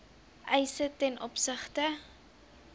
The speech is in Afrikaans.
eise ten opsigte